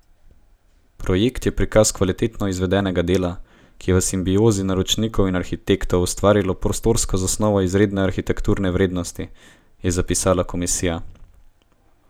Projekt je prikaz kvalitetno izvedenega dela, ki je v simbiozi naročnikov in arhitektov ustvarilo prostorsko zasnovo izredne arhitekturne vrednosti, je zapisala komisija.